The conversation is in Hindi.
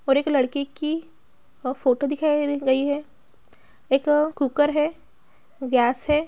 और के लड़के की फोटो दिखाई गई रही हैं एक कूकर हैं गैस हैं।